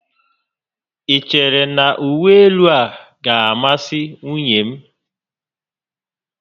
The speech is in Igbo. I chere na uwe élú a gá a masị nwunye m?